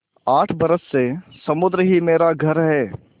आठ बरस से समुद्र ही मेरा घर है